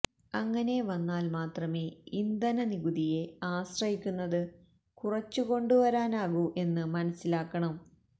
അങ്ങനെ വന്നാല് മാത്രമേ ഇന്ധന നികുതിയെ ആശ്രയിക്കുന്നത് കുറച്ചുകൊണ്ടുവരാനാകൂ എന്ന് മനസ്സിലാക്കണം